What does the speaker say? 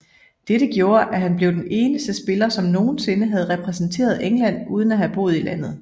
Dette gjorde at han blev den eneste spiller som nogensinde havde repræsenteret England uden at have boet i landet